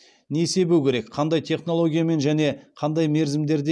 не себу керек қандай технологиямен және қандай мерзімдерде